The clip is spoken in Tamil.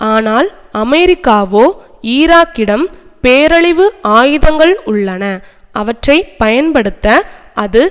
ஆனால் அமெரிக்காவோ ஈராக்கிடம் பேரழிவு ஆயுதங்கள் உள்ளன அவற்றை பயன்படுத்த அது